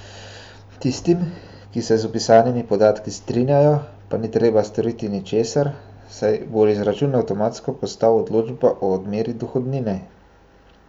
Tistim, ki se z vpisanimi podatki strinjajo, pa ni treba storiti ničesar, saj bo izračun avtomatsko postal odločba o odmeri dohodnine.